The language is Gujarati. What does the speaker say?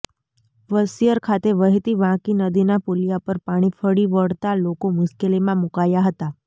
વશીયર ખાતે વહેતી વાંકી નદીના પુલીયા પર પાણી ફરી વળતા લોકો મુશ્કેલીમાં મુકાયા હતા